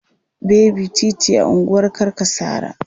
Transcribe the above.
Baby titi a unguwar Karkasara.